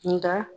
Nka